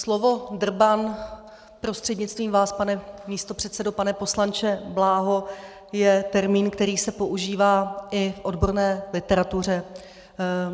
Slovo drban, prostřednictvím vás, pane místopředsedo, pane poslanče Bláho, je termín, který se používá i v odborné literatuře.